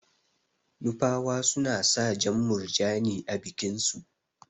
Nupawa suna sa jan murjani a bikin su.